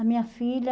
A minha filha...